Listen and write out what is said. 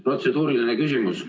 Protseduuriline küsimus.